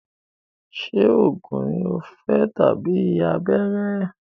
Ṣé oògùn ní o fẹ́ tàbí abẹ́rẹ́?